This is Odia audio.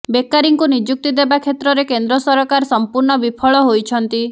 ବେକାରୀଙ୍କୁ ନିଯୁକ୍ତି ଦେବାକ୍ଷେତ୍ରରେ କେନ୍ଦ୍ର ସରକାର ସମ୍ପୂର୍ଣ୍ଣ ବିଫଳ ହୋଇଛନ୍ତି